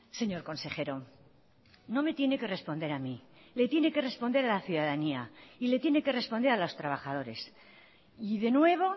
señor consejero no me tiene que responder a mí le tiene que responder a la ciudadanía y le tiene que responder a los trabajadores y de nuevo